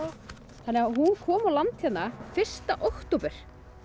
þannig að hún kom á land hérna fyrsta október